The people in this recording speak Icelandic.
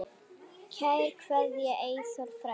Kær kveðja, Eyþór frændi.